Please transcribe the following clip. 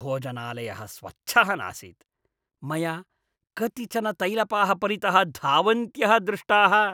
भोजनालयः स्वच्छः नासीत्, मया कतिचन तैलपाः परितः धावन्त्यः दृष्टाः। आहारविमर्शकः